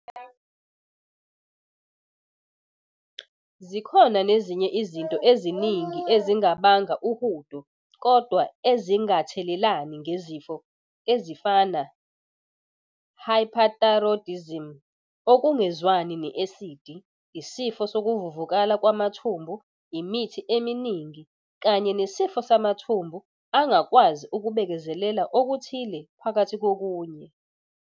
Zikhona nezinye izinto eziningi ezingabanga uhudo kodwa ezingathelelani ngezifo ezifana - hyperthyroidism, okungezwani ne-esidi, isifo sokuvuvukala kwamathumbu, imithi eminingi, kanye nesifo samathumbu angakwazi ukubekezelela okuthile phakathi kokunye.